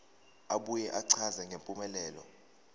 abuye achaze ngempumelelo